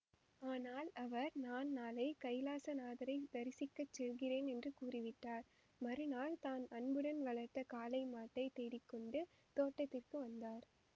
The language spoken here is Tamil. ஆனால் அவர் நான் நாளை கயிலாச நாதரை தரிசிக்க செல்கிறேன் என்று கூறிவிட்டார்மறுநாள் தான் அன்புடன் வளர்த்த காளைமாட்டை தேடிக் கொண்டு தோட்டத்திற்கு வந்தார்